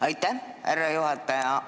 Aitäh, härra juhataja!